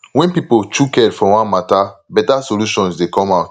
when plenty pipo chook head for one matter better solution dey come out